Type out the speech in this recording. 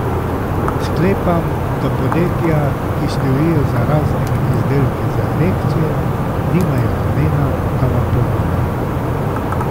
Sklepam, da podjetja, ki stojijo za raznimi izdelki za erekcijo, nimajo namena, da vam pomagajo.